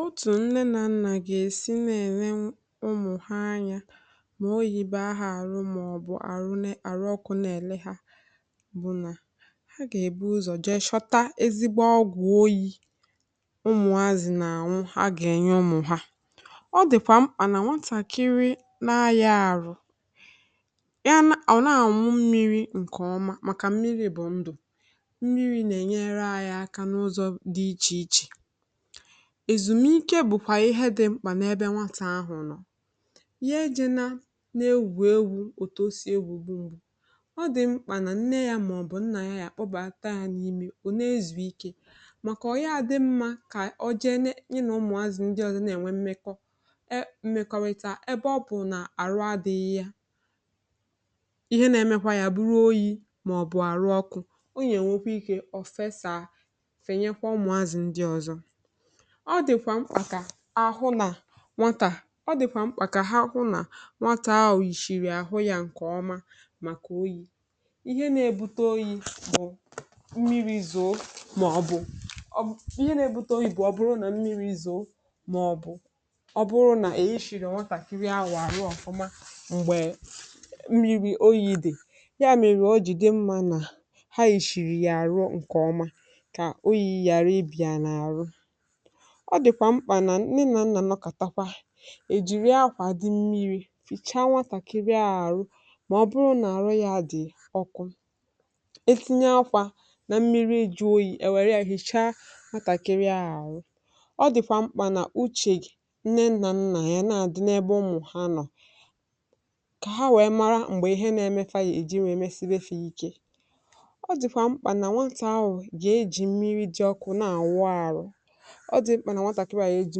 Òtù nne na nna ga-esi na-ele ụmụ ha anya ma ọ bụrụ na ahụ ọrù maọbụ ọrù ọkụ na-ele ha bụ na ha ga-eburu ụzọ jee shọta ezigbo ọgwụ oyi. Ụmụazị na ọnwụ ha ga-enye ụmụ ha; ọ dịkwa mkpà na nwatakịrị na-ayi ọrù ya na ọ na-amụ mmiri nke ọma, maka mmiri bụ ndụ, ezumike bụkwa ihe dị mkpà n’ebe nwatà ahụ nọ ya ejena na-ewu ewu, oto si egwu mgbu. Ọ dị mkpà na nne ya maọbụ nna ya ya kpọbata ya n'ime o na-ezu ike, maka ọ ya adị mma ka ọ jee na ụmụazụ ndị ọzọ na-enwe mmekọrịta ebe ọ bụ na ọrù adịghị ya, ihe na-eme kwa bụ oyi maọbụ ọrù ọkụ. Ọ dịkwa mkpà ka ahụ na nwatà dịkwa mkpà ka ha hụ na nwatà ahụ òyìrì ahụ ya nke ọma maka oyi, ihe na-ebute oyi bụ mmiri(um) zoo maọbụ ihe na-ebute oyi bụ ọ bụrụ na mmiri zoo maọbụ ọ bụrụ na ẹyìrì ọ̀watà kiri àrụ ọfụma. Mgbe mmiri oyi dị ya mere o jide mmiri na ha ishiri ya àrụ nke ọma, ọ dịkwa mkpà na nne na nna nọkatakwa ejiri akwa dị mmiri sị chaa wasakịrị ọrù maọbụ na ọrù ya dị ọkwụ. E tinye akwa na mmiri eju oyi, ewere ya hichaa, matakịrị ọrù. Ọ dịkwa mkpà na uche nne nna ya, na adị na ebe ụmụ ha nọ ka ha wee mara mgbe ihe na-eme, ya eji wee mesibe ha ike. Ọ dị mkpà na nwatakịrị a ya eji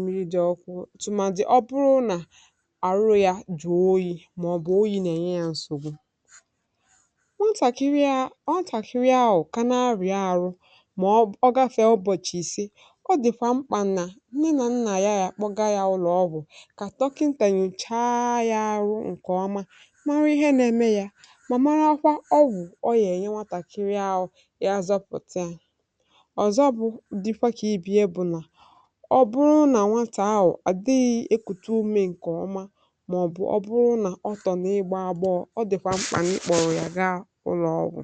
mmiri dị ọkụ tụmadị ọ bụrụ na ọrù ya jụọ oyi maọbụ oyi na-enye ya nsògbu ọ tàkiri ahụ, kana arịa ọrù ma ọ gafee ụbọchị isi, ọ dịfà mkpà nna na nna ya ya kpọga ya ụlọ, ọbụ ka dọkịnta nyocha ya ọrù nke ọma, mara ihe na-eme ya, ma mara kwa ọgwụ ọ ya enye nwatakịrị ahụ iji zọpụta ya. Ọ bụrụ na nwa ahụ adịghị ekùtu ume nke ọma maọbụ ọ tọ n’ịgba àgbọọ, ọ dịkwa mkpà ịkpọrọ ya gaa ụlọọgwụ.